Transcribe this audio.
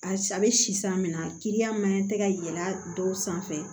A bɛ si san min na kiliyan maɲan tɛ ka yɛlɛ a dɔw sanfɛ